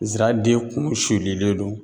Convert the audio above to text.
Zaraden kun sulilen don